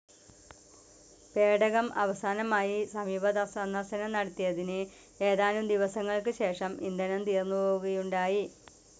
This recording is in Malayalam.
പേടകം അവസാനമായി സമീപസന്ദർശനം നടത്തിയതിന് ഏതാനും ദിവസങ്ങൾക്ക് ശേഷം ഇന്ധനം തീർന്നുപോവുകയുണ്ടായി.